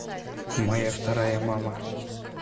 моя вторая мама